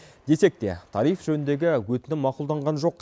десек те тариф жөніндегі өтінім мақұлданған жоқ